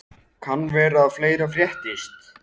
Og kann vera að fleira fréttist.